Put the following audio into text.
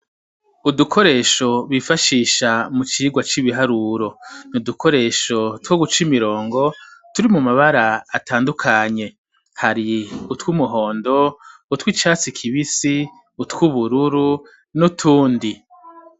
Udukoresho bifashisha, mu vyigwa c'ibiharuro, n’udukoresho two guca imirongo ,turi mu mabara atandukanye, hari utw'umuhondo ,utw' icatsi kibisi ,utw'ubururu, n'utundi.